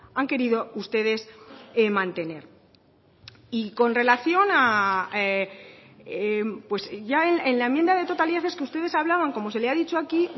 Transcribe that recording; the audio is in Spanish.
han querido ustedes mantener y con relación ya en la enmienda de totalidad es que ustedes hablaban como se le ha dicho aquí